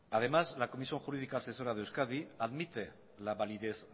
además la comisión jurídica asesora de euskadi admite la validez